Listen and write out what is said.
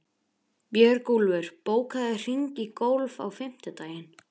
Björgúlfur, bókaðu hring í golf á fimmtudaginn.